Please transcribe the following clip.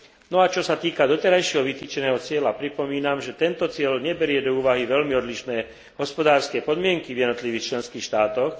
No a čo sa týka doterajšieho vytýčeného cieľa, pripomínam, že tento cieľ neberie do úvahy veľmi odlišné hospodárske podmienky v jednotlivých členských štátoch.